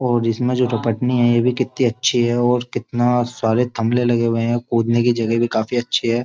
और इसमें जो रपटनी है ये भी कितनी अच्छी है और कितना सारे थमले लगे हुए हैं कूदने की जगह भी काफी अच्छी है।